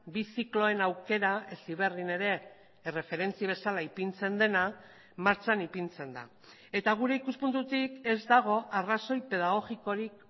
bi zikloen aukera heziberrin ere erreferentzia bezala ipintzen dena martxan ipintzen da eta gure ikuspuntutik ez dago arrazoi pedagogikorik